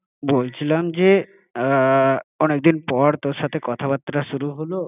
বলছিলাম যে, অনেক দিন পর তোর সাথে কথা বার্তা শুরু হলো, দাদা? তো কি অচেনা হ্যাঁ বল মানুষের মতো কথা বলছো তুমি এটা?